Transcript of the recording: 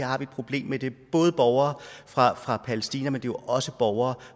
har de et problem med det er både borgere fra fra palæstina men jo også borgere